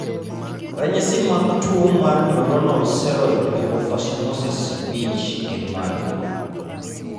Ranyisi mag tuo mar Neuronal ceroid lipofuscinosis 5 gin mage?